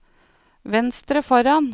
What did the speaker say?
venstre foran